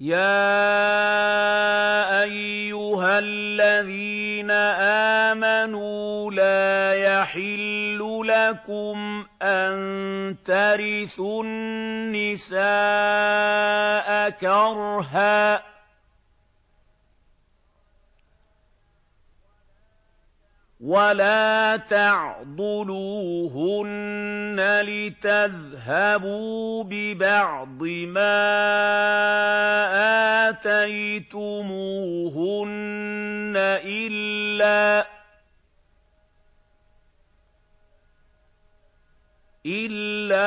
يَا أَيُّهَا الَّذِينَ آمَنُوا لَا يَحِلُّ لَكُمْ أَن تَرِثُوا النِّسَاءَ كَرْهًا ۖ وَلَا تَعْضُلُوهُنَّ لِتَذْهَبُوا بِبَعْضِ مَا آتَيْتُمُوهُنَّ إِلَّا